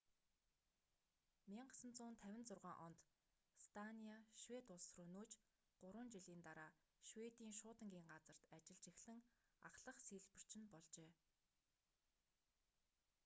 1956 онд станиа швед улс руу нүүж гурван жилийн дараа шведийн шуудангийн газарт ажиллаж эхлэн ахлах сийлбэрч нь болжээ